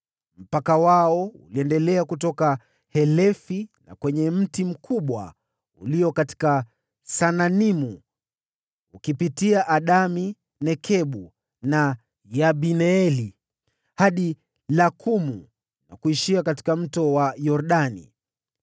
Mpaka wao uliendelea kutoka Helefi na kwenye mti mkubwa ulio katika Saananimu, ukipitia Adami-Nekebu na Yabineeli hadi Lakumu, na kuishia katika Mto Yordani.